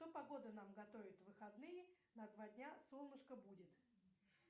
что погода нам готовит в выходные на два дня солнышко будет